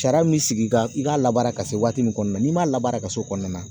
Sariya min sigi kan i ka labaara ka se waati min kɔnɔna na n'i ma labaara ka se o kɔnɔna na